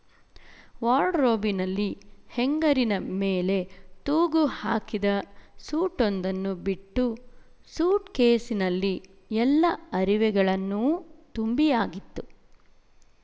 ವಾರ್ಡ್‍ರೋಬಿನಲ್ಲಿ ಹೆಂಗರಿನ ಮೇಲೆ ತೂಗು ಹಾಕಿದ ಸೂಟೊಂದನ್ನು ಬಿಟ್ಟು ಸೂಟ್‍ಕೇಸಿನಲ್ಲಿ ಎಲ್ಲ ಅರಿವೆಗಳನ್ನೂ ತುಂಬಿಯಾಗಿತ್ತು